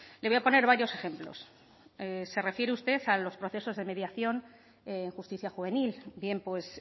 le voy a poner varios ejemplos se refiere usted a los procesos de mediación en justicia juvenil bien pues